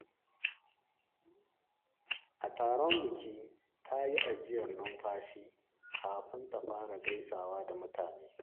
A taron biki, ta yi ajiyar numfashi kafin ta fara gaisawa da mutane.